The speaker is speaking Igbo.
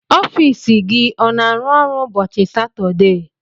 Ọfiisi gị ọ n'arụ ọrụ ụbọchị Satọdee?